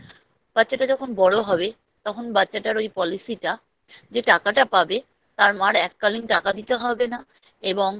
বাচ্চাটা যখন বড় হবে তখন বাচ্চাটার ওই Policy টা যে টাকাটা পাবে তার মার এককালীন টাকা দিতে হবে না এবং